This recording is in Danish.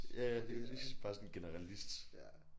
Ja lige præcis bare sådan generelist